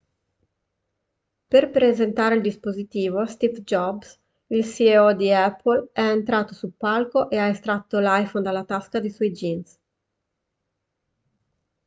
per presentare il dispositivo steve jobs il ceo di apple è entrato sul palco e ha estratto l'iphone dalla tasca dei suoi jeans